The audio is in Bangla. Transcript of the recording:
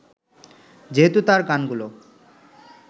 যেহেতু তাঁর গানগুলো